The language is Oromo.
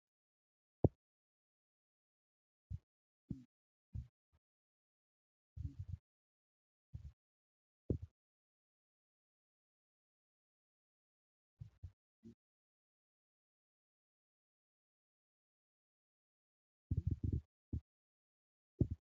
Rifeensa ofii sirreeffachuun nageenya qaamaatiif baay'ee barbaachisaadha. Kana jechuun namoonni qulqullina isaa eeggachuudhaaf dhiqachuufi warri dhiiraa immoo yeroo inni guddatu murachuun baay'ee barbaachisaadha. Kanaaf jecha namoonni carraa hojii uummatanii rifeensa kana sirreessuu irratti bobba'an bu'a qabeeyyii ta'uu danda'aniiru.